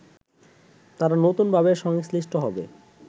তারা নতুনভাবে সংশ্লিষ্ট হবে